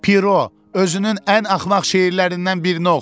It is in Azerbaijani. Piro, özünün ən axmaq şeirlərindən birini oxu!